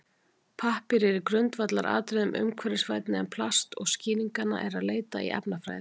Pappír er í grundvallaratriðum umhverfisvænni en plast og er skýringanna að leita í efnafræði.